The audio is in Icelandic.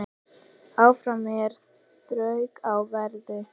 Áfram hér þrauka á verði.